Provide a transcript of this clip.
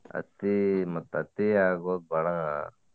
ಅತೀ ಮತ್ತ್ ಅತಿ ಆಗೋದ ಬಾಳ